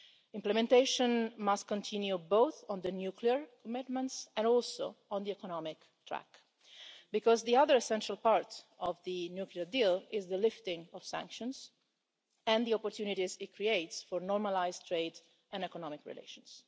Implementation must continue, both on the nuclear commitments and also on the economic track, because the other essential part of the nuclear deal is the lifting of sanctions and the opportunities it creates for normalised trade and economic relations.